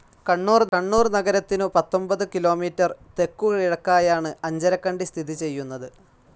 കണ്ണൂർ നഗരത്തിനു പത്തൊൻപതു കിലോമീറ്റർ തെക്കു കിഴക്കായാണ് അഞ്ചരക്കണ്ടി സ്ഥിതി ചെയ്‌യുന്നത്.